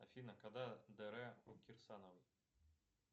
афина когда др у кирсановой